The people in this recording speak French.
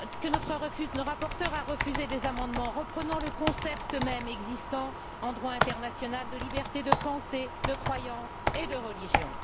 Notre rapporteur a refusé des amendements reprenant le concept même existant en droit international de liberté de pensée, de croyance et de religion.